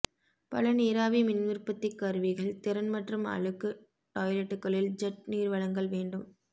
பல நீராவி மின் உற்பத்திக் கருவிகள் திறன் மற்றும் அழுக்கு டாயிலட்டுகளில் ஜெட் நீர் வழங்கல் வேண்டும்